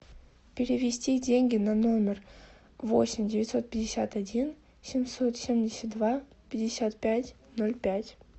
перевести деньги на номер восемь девятьсот пятьдесят один семьсот семьдесят два пятьдесят пять ноль пять